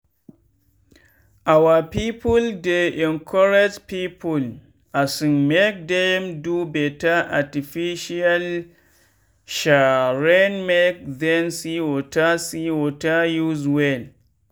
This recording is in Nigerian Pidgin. our people dey encourage people um make dem do better artificial um rainmake them see water see water use well.